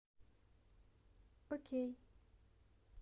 окей